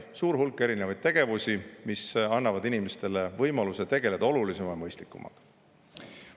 suur hulk tegevusi ning see annab inimestele võimaluse tegeleda olulisema ja mõistlikumaga.